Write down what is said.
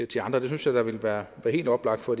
til andre det synes jeg da ville være helt oplagt for